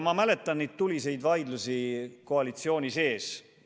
Ma mäletan tuliseid vaidlusi koalitsiooni sees.